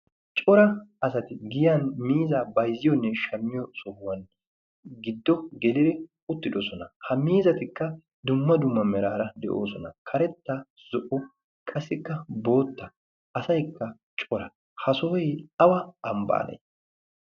cora asati giyan miiza bayzziyoonne shammiyo sohuwan giddo geliri uttidosona ha miizatikka dumma duma meraara de'oosona karetta zo'o qasikka bootta asaykka cora ha sohoy awa ambbaanee